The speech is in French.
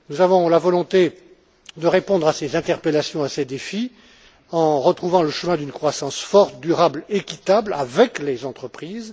Nous avons la volonté de répondre à ces interpellations et à ces défis en retrouvant le chemin d'une croissance forte, durable et équitable avec les entreprises.